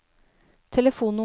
telefonnummer